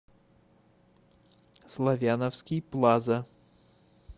славяновский плаза